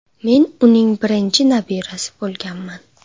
Men uning birinchi nabirasi bo‘lganman.